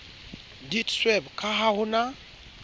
deedsweb ka ha ho na